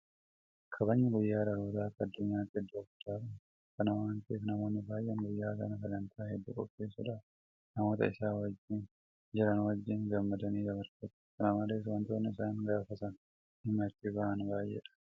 Kabajni guyyaa dhalootaa akka addunyaatti iddoo guddaa qaba. Kana waanta ta'eef namoonni baay'een guyyaa sana sagantaa hedduu qopheessuudhaan namoota isaan wajjin jiran wajjin gammadanii dabarfatu. Kanamalees waantonni isaan gaafa sana dhimma itti bahan baay'eedha.